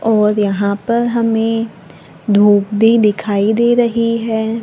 और यहां पर हमें धूप भी दिखाई दे रही है।